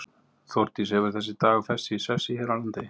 Þórdís, hefur þessi dagur fest sig í sessi hér á landi?